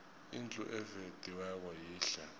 indlu evediweko yihle